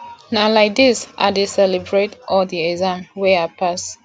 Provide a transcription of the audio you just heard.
na lai dis i dey celebrate all di exam wey i pass